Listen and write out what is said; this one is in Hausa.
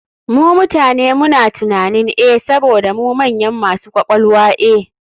Mu mutane muna tunanin e saboda mu manyan masu ƙwaƙwalwa e.